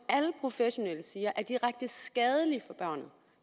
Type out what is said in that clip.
alle professionelle siger er direkte skadeligt for